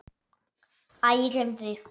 Æ, gleymdu því.